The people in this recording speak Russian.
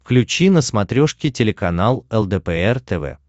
включи на смотрешке телеканал лдпр тв